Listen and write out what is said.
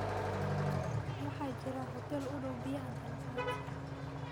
waxaa jira hotel u dhow oo bixiya dalabaad